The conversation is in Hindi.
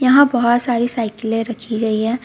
यहां बोहोत सारी साइकिले रखी गई है.